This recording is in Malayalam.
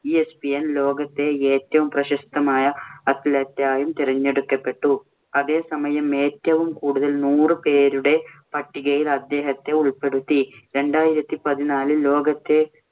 ESPN ലോകത്തെ ഏറ്റവും പ്രശസ്തമായ athlete ആയും തെരഞ്ഞെടുക്കപ്പെട്ടു. അതേസമയം ഏറ്റവും കൂടുതൽ നൂറ് പേരുടെ പട്ടികയിൽ അദ്ദേഹത്തെ ഉൾപ്പെടുത്തി. രണ്ടായിരത്തി പതിനാലില്‍ ലോകത്തെ